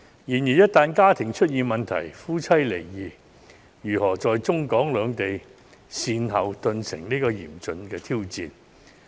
然而，這些家庭一旦出現問題，夫妻離異告終，則如何在中、港兩地善後，頓成嚴峻的挑戰。